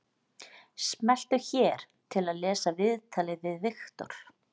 Smelltu hér til að lesa viðtalið við Viktor